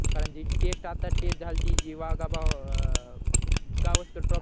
कारण जी टेस्ट आता टेस्ट झालती जी वाघा बॉ अं गावस्कर ट्रॉफी